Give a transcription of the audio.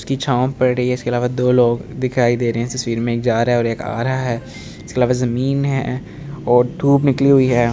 इसकी छाव पड़ रही है इसके अलावा दो लोग दिखाई दे रहे है तस्वीर में एक जा रहा है और एक आ रहा है इसके अलावा जमीन है और धूप निकली हुई है ।